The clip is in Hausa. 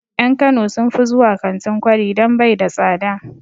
En kano sun fi zuwa kantin kwari don bai da tsada